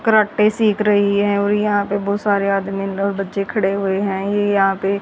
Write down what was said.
karate सीख रही हैं और यहां पे बहुत सारे आदमी और बच्चे खड़े हुए हैं ये यहां पे --